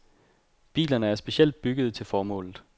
Bilerne er specielt byggede til formålet.